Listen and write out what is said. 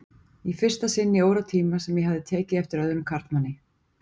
Í fyrsta sinn í óratíma sem ég hafði tekið eftir öðrum karlmanni.